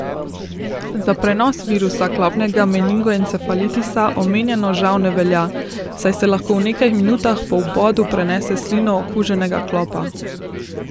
Za prenos virusa klopnega meningoencefalitisa omenjeno žal ne velja, saj se lahko v nekaj minutah po vbodu prenese s slino okuženega klopa.